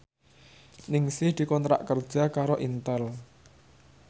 Ningsih dikontrak kerja karo Intel